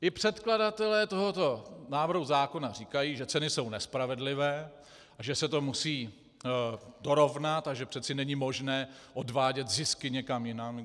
I předkladatelé tohoto návrhu zákona říkají, že ceny jsou nespravedlivé a že se to musí dorovnat a že přece není možné odvádět zisky někam jinam.